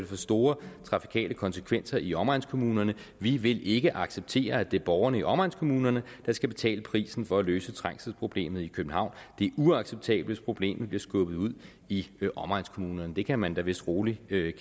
få store trafikale konsekvenser i omegnskommunerne vi vil ikke acceptere at det er borgerne i omegnskommunerne der skal betale prisen for at løse trængselsproblemet i københavn det er uacceptabelt hvis problemet bliver skubbet ud i omegnskommunerne det kan man da vist roligt